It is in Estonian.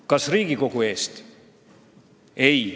– Kas Riigikogu eest?